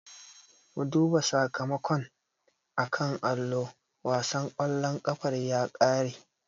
Mu duba sakamakon a kan allo, wasan ƙwallon ƙafar ya ƙare.